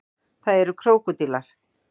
það eru krókódílar